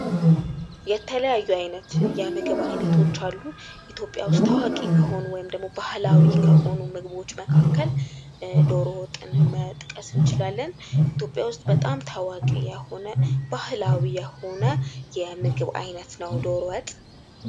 የተለያዩ አይነት የምግብ አይነቶች አሉ። ኢትዮጵያ ዉስጥ ታዋቂ ከሆኑ ወይም ደግሞ ባህላዊ ከሆኑ ምግቦች መካከል ዶሮ ወጥን መጥቀስ እንችላለን። ኢትዮጵያ ዉስጥ በጣም ታዋቂ የሆነ ባህላዊ የሆነ የምግብ አይነት ነዉ ዶሮ ወጥ።